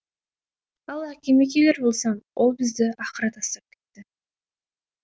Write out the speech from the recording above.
ал әкеме келер болсам ол бізді ақыры тастап кетті